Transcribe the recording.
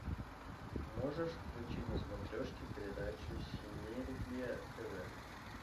можешь включить на смотрешке передачу синергия тв